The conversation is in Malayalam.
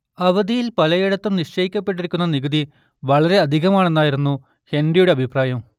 അവധിൽ പലയിടത്തും നിശ്ചയിക്കപ്പെട്ടിരുന്ന നികുതി വളരെ അധികമാണെന്നായിരുന്നു ഹെൻറിയുടെ അഭിപ്രായം